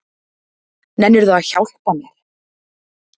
Nennirðu að hjálpa mér?